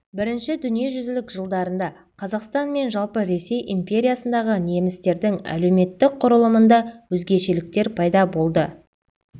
бірінші дүниежүзілік жылдарында қазақстан мен жалпы ресей империясындағы немістердің әлеуметтік құрылымында өзгешеліктер пайда болды